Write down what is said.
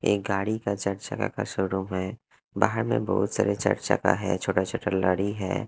एक गाड़ी का का शोरूम है बाहर में बहुत सारे चर्चा का है छोटा छोटा लड़ी है।